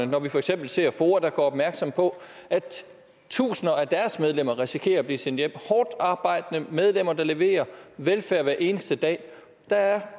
når vi for eksempel ser foa der gør opmærksom på at tusinder af deres medlemmer risikerer at blive sendt hjem hårdt arbejdende medlemmer der leverer velfærd hver eneste dag der er